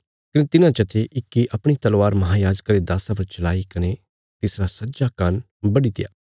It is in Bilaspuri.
कने तिन्हां चा ते इक्की अपणी तलवार महायाजका रे दास्सा पर चलाई कने तिसरा सज्जा कान्न बड्डीत्या